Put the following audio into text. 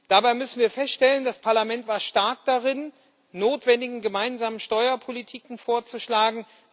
Dabei müssen wir feststellen Das Parlament war stark darin, notwendige gemeinsame Steuerpolitiken vorzuschlagen.